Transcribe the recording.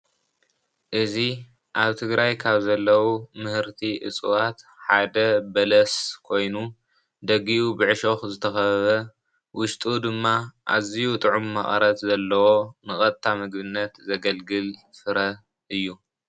እዚ ኣብ ትግራይ ካብ ዘለዉ ምህርቲ እፅዋት ሓደ በለስ ኮይኑ ደጊኡ ብዕሾኽ ዝተኸበበ ውሽጡ ድማ ኣዝዩ ጥዑም መቐረት ዘለዎ ንቐጥታ ምግብነት ዘገልግል ፍረ እዩ።